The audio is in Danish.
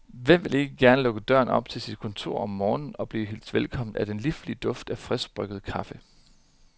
Hvem vil ikke gerne lukke døren til sit kontor op om morgenen og blive hilst velkommen af den liflige duft af friskbrygget kaffe?